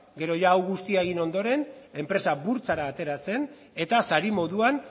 gero ia hau guztia egin ondoren enpresa burtsara atera zen eta sari moduan